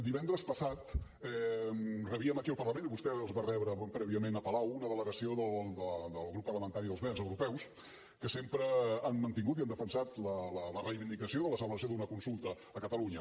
divendres passat rebíem aquí al parlament i vostè els va rebre prèviament a palau una delegació del grup parlamentari dels verds europeus que sempre han mantingut i han defensat la reivindicació de la celebració d’una consulta a catalunya